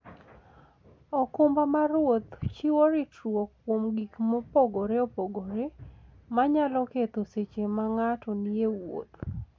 okumba mar wuoth chiwo ritruok kuom gik mopogore opogore manyalo ketho seche ma ng'ato nie wuoth.